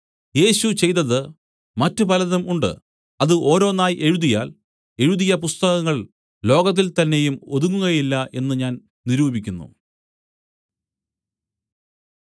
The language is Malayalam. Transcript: യേശു ചെയ്തതു മറ്റു പലതും ഉണ്ട് അത് ഓരോന്നായി എഴുതിയാൽ എഴുതിയ പുസ്തകങ്ങൾ ലോകത്തിൽ തന്നെയും ഒതുങ്ങുകയില്ല എന്നു ഞാൻ നിരൂപിക്കുന്നു